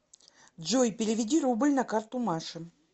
джой переведи рубль на карту маше